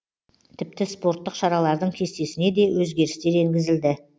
тіпті спорттық шаралардың кестесіне де өзгерістер енгізілді